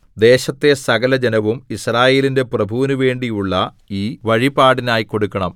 ദേശത്തെ സകലജനവും യിസ്രായേലിന്റെ പ്രഭുവിനു വേണ്ടിയുള്ള ഈ വഴിപാടിനായി കൊടുക്കണം